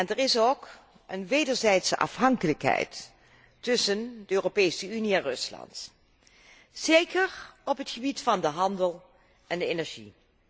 Er bestaat ook een wederzijdse afhankelijkheid tussen de Europese Unie en Rusland, zeker op het gebied van de handel en de energie.